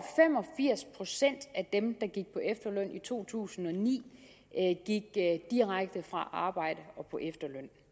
firs procent af dem der gik på efterløn i to tusind og ni gik direkte fra arbejde og på efterløn